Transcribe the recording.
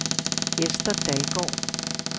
Esther Dalgaard